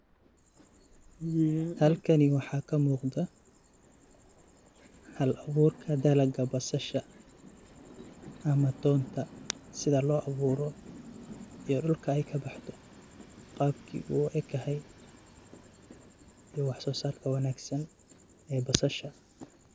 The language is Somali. Halkani waxa kamuqda hab aburka dalaga basasha ama tonta sida loaburo iyo dhulka ey kabaxdo qabki uu ekahay iyo wax sosarka wanagsan ee basasha.